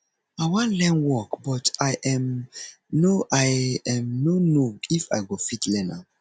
i wan learn work but i um no i um no know if i go fit learn am